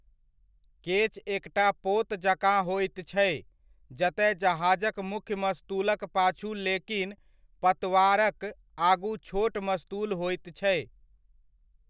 केच एकटा पोत जकाँ होइत छै, जतय जहाजक मुख्य मस्तूलक पाछू लेकिन पतवारकआगू छोट मस्तूल होइत छै।